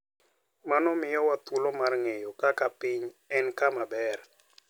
Mano miyowa thuolo mar ng'eyo kaka piny en kama ber.